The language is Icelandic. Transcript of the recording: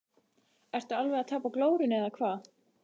Ertu alveg að tapa glórunni eða hvað!